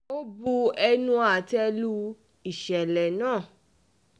ó bu ẹnu àtẹ́ um lu ìṣẹ̀lẹ̀ náà